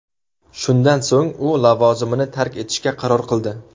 Shundan so‘ng u lavozimini tark etishga qaror qildi.